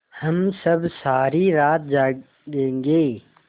हम सब सारी रात जागेंगे